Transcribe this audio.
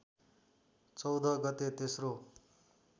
चौध गते तेस्रो